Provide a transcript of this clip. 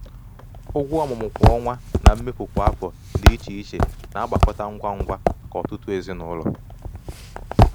ụgwọ ọmụmụ kwa ọnwa na mmefu kwa afọ dị iche iche na-agbakọta ngwa ngwa maka ọtụtụ ezinụlọ.